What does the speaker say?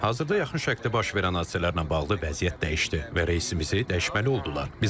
Hazırda yaxın şərqdə baş verən hadisələrlə bağlı vəziyyət dəyişdi və reysimizi dəyişməli oldular.